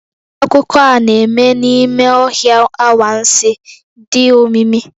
Akụkọ a na-eme n'ime ọhịa anwansi, dị omimi.